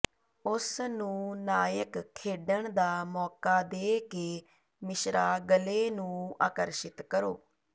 ਉਸ ਨੂੰ ਨਾਇਕ ਖੇਡਣ ਦਾ ਮੌਕਾ ਦੇ ਕੇ ਮਿਸ਼ਰਾ ਗਲੇ ਨੂੰ ਆਕਰਸ਼ਿਤ ਕਰੋ